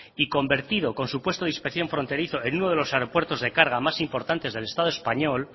y convertido con su puesto de inspección fronterizo en uno de los aeropuertos de carga más importante del estado español